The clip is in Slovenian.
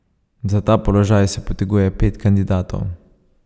Za ta položaj se poteguje pet kandidatov.